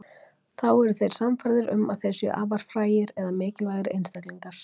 Þá eru þeir sannfærðir um að þeir séu afar frægir eða mikilvægir einstaklingar.